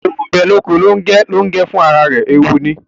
Ẹwù ńbe loko Longẹ, Longẹ fún àrà rẹ ẹwù ní